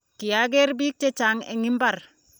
kiageer bik chechang eng mbar